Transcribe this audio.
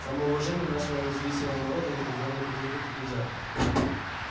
самоуважение нашего независимого народа никогда не потерпит таких жертв